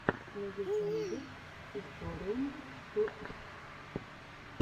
найди обзоры ютуб